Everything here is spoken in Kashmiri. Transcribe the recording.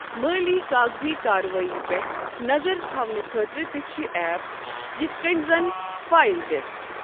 مٲلی کاغذی کاروٲئی پٮ۪ٹھ نظر تھونہٕ خٲطرٕ تہِ چھِ ایپ یِتھ کٔنۍ زَن فایِل دِس ۔